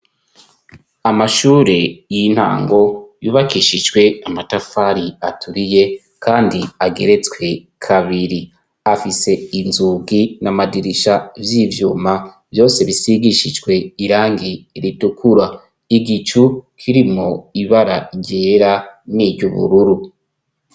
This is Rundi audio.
Amashure y'intango yubakishijwe amatafari aturiye kandi ageretswe kabiri, afise inzugi n'amadirisha vy'ibyuma vyose bisigishijwe irangi ritukura ,igicu kirimwo ibara ryera niry'ubururu.